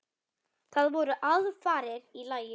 Það voru aðfarir í lagi!